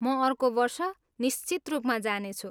म अर्को वर्ष निश्चित रूपमा जानेछु।